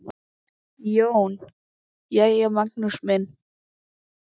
JÓN: Jæja, Magnús minn!